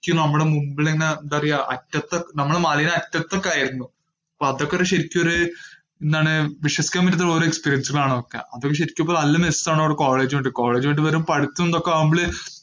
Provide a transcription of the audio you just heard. ശരിക്ക് നമ്മുടെ മുമ്പിലിങ്ങനെ എന്താ പറയുക. അറ്റത്ത് നമ്മള് മലേനെ അറ്റത്ത് ഒക്കെ ആയിരുന്നു. അതൊക്കെ ശരിക്കും എന്താണ് വിശ്വസിക്കാന്‍ പറ്റുന്ന ഓരോ experience ആണ് അതൊക്കെ. അത് ശരിക്കും നല് college വിട്ടു വരുമ്പോള്‍ പഠിത്തം ഇതൊക്കെ ആവുമ്പോള്